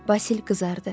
Basil qızardı.